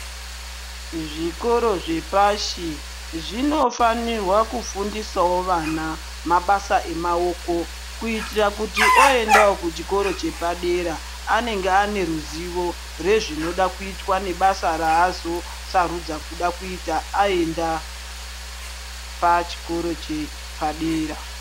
Zvikora zvepashi zvinofanirwawo kufundisawo vana mabasa emaoko kuitira kuti oendawo kuchikora chepadera anenge ane ruzivo rezvinoda kuitwa nebasa razo sarudza aenda pachikora chepadera.